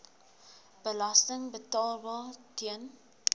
belasting betaalbaar ten